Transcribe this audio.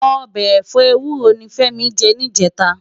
Òbè ẹfọ éwúró ni Femi jè nijètá